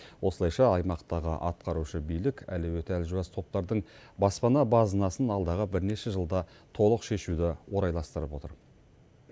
осылайша аймақтағы атқарушы билік әлеуеті әлжуаз топтардың баспана базынасын алдағы бірнеше жылда толық шешуді орайластырып отыр